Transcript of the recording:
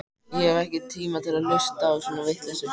Ég hef ekki tíma til að hlusta á svona vitleysu.